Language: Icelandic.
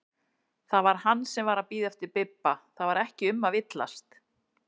Það var hann sem var að bíða eftir Bibba, það var ekki um að villast!